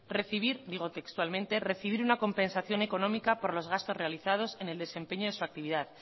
recibir digo textualmente recibir una compensación económica por los gastos realizados en el desempeño de su actividad